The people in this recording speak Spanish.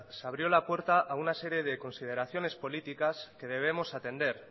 se abrió la puerta a una serie de consideraciones políticas que debemos atender